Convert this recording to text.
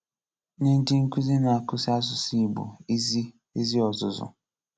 Nye ndị nkuzi na-akụzi asụsụ Ị̀gbò ezi ezi ọzụzụ.